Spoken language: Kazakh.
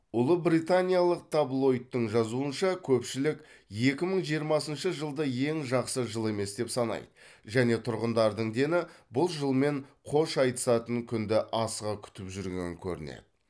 ұлыбританиялық таблоидтың жазуынша көпшілік екі мың жиырмасыншы жылды ең жақсы жыл емес деп санайды және тұрғындардың дені бұл жылмен қош айтысатын күнді асыға күтіп жүрген көрінеді